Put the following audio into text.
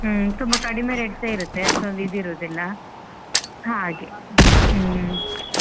ಹ್ಮ್ ತುಂಬಾ ಕಡಿಮೆ rate ಸ ಇರುತ್ತೆ ಅಷ್ಟೊಂದು ಇದು ಇರೋದಿಲ್ಲ ಹಾಗೆ ಹ್ಮ್.